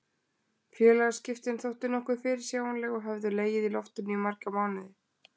Félagaskiptin þóttu nokkuð fyrirsjáanleg og höfðu legið í loftinu í marga mánuði.